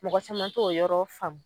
Mɔgɔ caman t'o yɔrɔ faamu